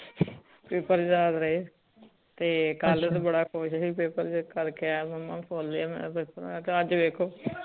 paper ਯਾਦ ਰਹੇ ਤੇ ਕਲ ਤਾ ਬੜਾ ਖੁਸ਼ ਸੀ ਪੇਪਰ ਕਰਕੇ ਆਯਾ ਮੁਮਾ ਫੁਲ ਹੋਯਾ ਮੇਰਾ ਪੇਪਰ